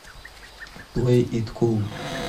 плэй ит кул